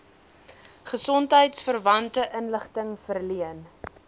gesondheidsverwante inligting verleen